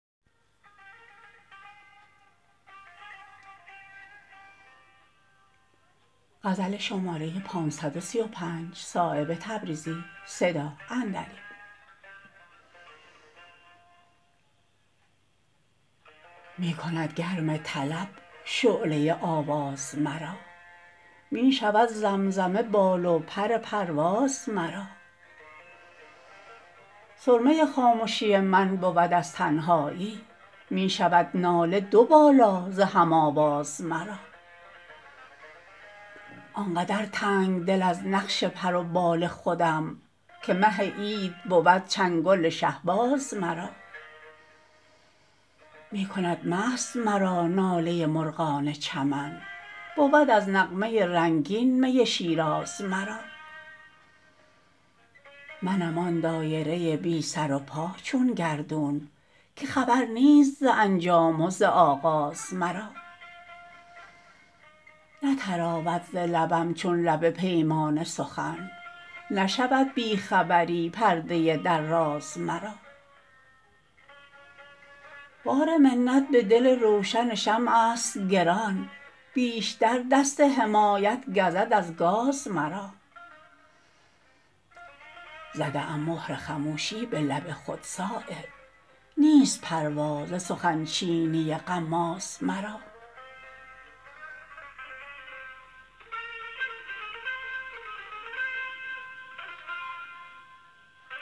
می کند گرم طلب شعله آواز مرا می شود زمزمه بال و پر پرواز مرا سرمه خامشی من بود از تنهایی می شود ناله دو بالا ز هم آواز مرا آنقدر تنگدل از نقش پر و بال خودم که مه عید بود چنگل شهباز مرا می کند مست مرا ناله مرغان چمن بود از نغمه رنگین می شیراز مرا منم آن دایره بی سر و پا چون گردون که خبر نیست ز انجام و ز آغاز مرا نتراود ز لبم چون لب پیمانه سخن نشود بی خبری پرده در راز مرا بار منت به دل روشن شمع است گران بیشتر دست حمایت گزد از گاز مرا زده ام مهر خموشی به لب خود صایب نیست پروا ز سخن چینی غماز مرا